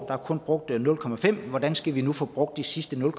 er kun brugt nul procent hvordan skal vi nu få brugt de sidste nul